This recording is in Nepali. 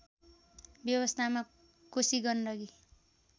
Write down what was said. व्यवस्थामा कोशी गण्डकी